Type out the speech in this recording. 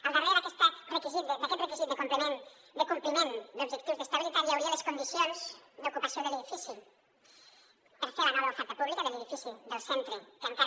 al darrere d’aquest requisit de compliment d’objectius d’estabilitat hi hauria les condicions d’ocupació de l’edifici per fer la nova oferta pública de l’edifici del centre que encara